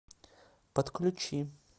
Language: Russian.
подключи